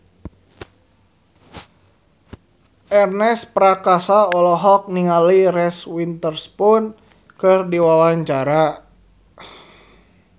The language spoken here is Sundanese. Ernest Prakasa olohok ningali Reese Witherspoon keur diwawancara